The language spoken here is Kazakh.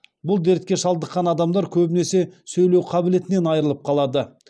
бұл дертке шалдыққан адамдар көбінесе сөйлеу қабілетінен айрылып қалады